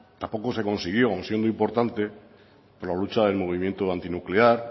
tampoco se consiguió aun siendo importante por la lucha del movimiento antinuclear